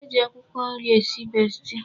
E ji akwụkwọ nri esi besti.